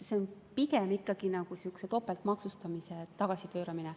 See on pigem nagu sihukese topeltmaksustamise tagasipööramine.